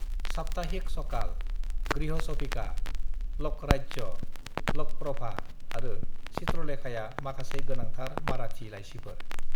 "साप्ताहिक सकाल, गृहश'भिका, ल'कराज्य, ल'कप्रभा आरो चित्रलेखाया माखासे गोनांथार माराठी लाइसिफोर।"